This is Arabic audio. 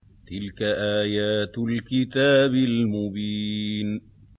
تِلْكَ آيَاتُ الْكِتَابِ الْمُبِينِ